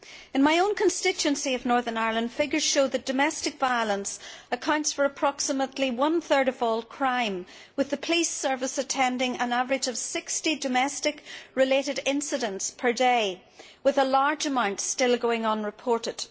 In my own constituency of Northern Ireland, figures show that domestic violence accounts for approximately one third of all crime, with the police service attending an average of 60 domestic related incidents per day, with a large amount still going unreported.